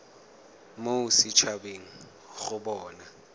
mo set habeng go bona